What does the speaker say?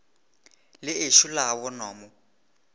le ešo la bonwa mo